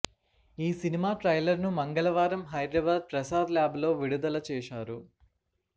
ఈ సినిమా ట్రైలర్ను మంగళవారం హైదరాబాద్ ప్రసాద్ ల్యాబ్ లో విడుదల చేశారు